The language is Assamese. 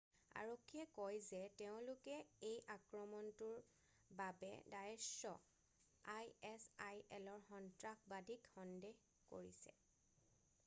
আৰক্ষীয়ে কয় যে তেওঁলোকে এই আক্ৰমণটোৰ বাবে ডায়েশ্ব আইএছআইএলৰ সন্ত্ৰাসবাদীক সন্দেহ কৰিছে।